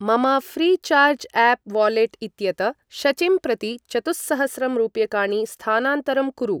मम Freecharge app wallet इत्यत शचिं प्रति चतुःसहस्रं रूप्यकाणि स्थानान्तरं कुरु।